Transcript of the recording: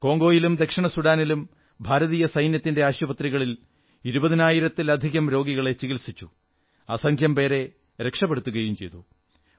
കോംഗോയിലും ദക്ഷിണ സുഡാനിലും ഭാരതീയ സൈന്യത്തിന്റെ ആശുപത്രികളിൽ ഇരുപതിനായിരത്തിലധികം രോഗികളെ ചികിത്സിച്ചു അസംഖ്യം പേരെ രക്ഷപ്പെടുത്തുകയും ചെയ്തു